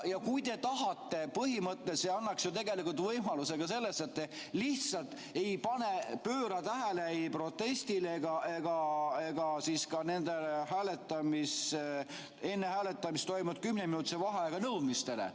Kui te tahate, põhimõtteliselt see annaks ju tegelikult võimaluse ka selleks, et te lihtsalt ei pööra tähelepanu ei protestile ega ka nendele enne hääletamist toimunud kümneminutilise vaheaja nõudmistele.